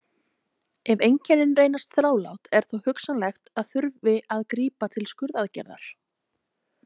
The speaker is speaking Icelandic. Ef einkennin reynast þrálát er þó hugsanlegt að þurfi að grípa til skurðaðgerðar.